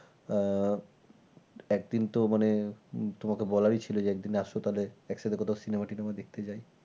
আহ একদিন তো মানে তোমাকে বলারি ছিল যে একদিন আসো তাহলে একদিন একসাথে কোথাও cinema টিনেমা দেখতে যাই।